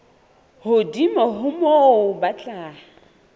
hodimo ho moo ba tla